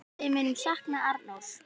Við munum sakna Arnórs.